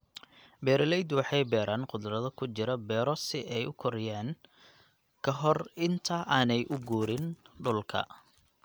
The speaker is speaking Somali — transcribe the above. Beeralaydu waxay beeraan khudrado kujira beero siay ukoriyaan kahor inta aanay uguurin dhulka.